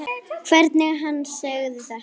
Og hvernig hann sagði þetta.